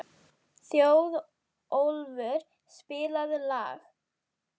Þjóðólfur, spilaðu lag.